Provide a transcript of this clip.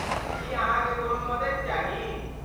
की अहाँकेँ कोनो मददि चाही?